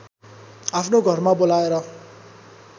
आफ्नो घरमा बोलाएर